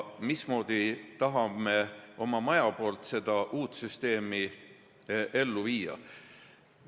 Mismoodi süsteemi me tahame oma majas nüüd ellu viia?